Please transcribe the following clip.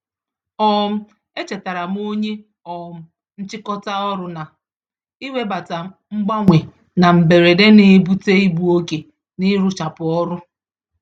um E chetaaram onyé um nchịkọta ọrụ na, iwebata mgbanwe na mberede, n'ebute igbu-oge n'ịrụchapụ ọrụ